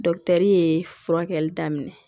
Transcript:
ye furakɛli daminɛ